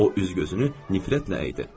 O üz-gözünü nifrətlə əydi.